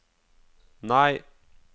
nei